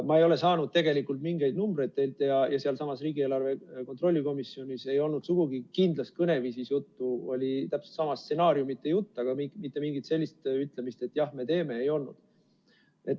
Ma ei ole saanud tegelikult mingeid numbreid teilt ja sealsamas riigieelarve kontrolli komisjonis ei olnud sugugi kindlas kõneviisis juttu, oli täpselt sama stsenaariumite jutt, aga mitte mingit sellist ütlemist, et jah, me teeme, ei olnud.